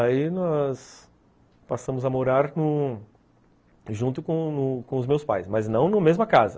Aí nós passamos a morar junto com com os meus pais, mas não na mesma casa.